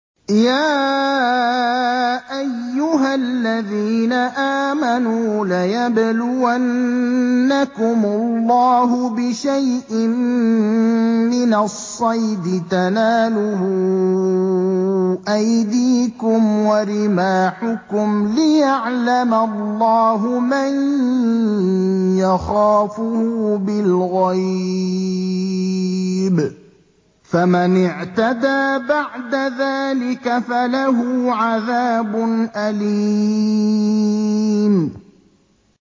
يَا أَيُّهَا الَّذِينَ آمَنُوا لَيَبْلُوَنَّكُمُ اللَّهُ بِشَيْءٍ مِّنَ الصَّيْدِ تَنَالُهُ أَيْدِيكُمْ وَرِمَاحُكُمْ لِيَعْلَمَ اللَّهُ مَن يَخَافُهُ بِالْغَيْبِ ۚ فَمَنِ اعْتَدَىٰ بَعْدَ ذَٰلِكَ فَلَهُ عَذَابٌ أَلِيمٌ